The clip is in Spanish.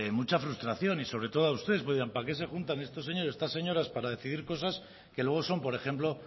mucha frustración y sobre a todo a ustedes pues dirán para qué se junta estos señores estas señoras para decidir cosas que luego son por ejemplo